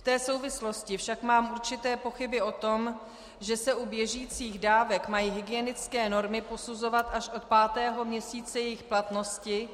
V té souvislosti však mám určité pochyby o tom, že se u běžících dávek mají hygienické normy posuzovat až od pátého měsíce jejich platnosti